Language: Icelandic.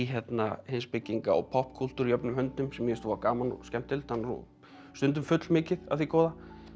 heimspekinga og poppkúltúr jöfnum höndum sem mér voða gaman og skemmtilegt stundum fullmikið af því góða